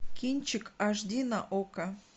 кинчик аш ди на окко